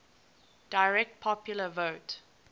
direct popular vote